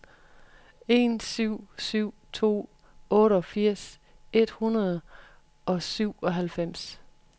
en syv syv to otteogfirs et hundrede og syvoghalvfems